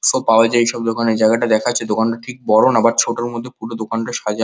খুব ভালো হয়েছে সব দোকানে জায়গাটা দেখা যাচ্ছে দোকানটা ঠিক বড় নয় ছোট মধ্যে পুরো দোকানটা সাজানো।